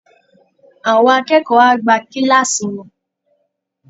Àwọn akẹ́kọ̀ọ́ á gbá kíláàsì wọn